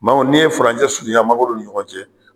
Maa n'i ye furanjɛ surunya mangoro ni ɲɔgɔn cɛ